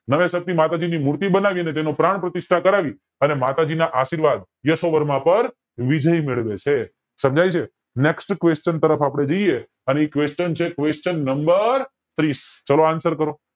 નવેસર થી માતાજીની મૂર્તિ બનાવી અને તેનું પ્રાણ પ્રતિસ્થા કરાવી અને માતાજી ના આશીર્વાદ યશોવર્મા પર વિજય મેળવે છે સમજાય NEXT QUESTION તરફ અપડે જય એ અને એ QUESTION છે QUESTION NUMBER છે ત્રીસ